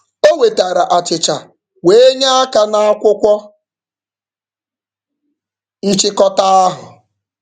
O wetara achịcha wee nye aka n'akwụkwọ nchịkọta ahụ.